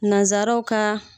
Nazaraw ka